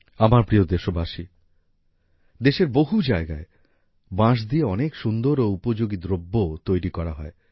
আমার প্রিয় দেশবাসী দেশের বহু জায়গায় বাঁশ দিয়ে অনেক সুন্দর ও উপযোগী দ্রব্য তৈরি করা হয়